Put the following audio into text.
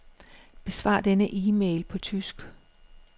Besvar denne e-mail på tysk.